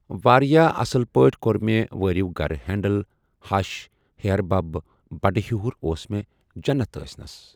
وارِیاہ اَصٕل پٲٹھۍ کوٚر مےٚ وٲرِو گرٕ ہینٛڈٕل ہَش ہِحٮ۪ربَب بَڈٕ ہِحُر اوس مےٚ جَنَت ٲسۍ نَس۔